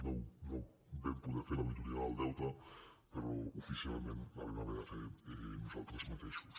no vam poder fer l’auditoria del deute però oficialment la vam haver de fer nosaltres mateixos